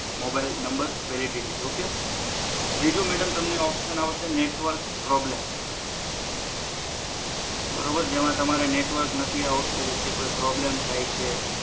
mobile number validity okay ત્રીજું madam તમને option આવશે નેટવર્ક પ્રોબ્લેમ બરોબર જેમાં તમારે નેટવર્ક નથી આવતું કે કોઈ પ્રોબ્લેમ થાય છે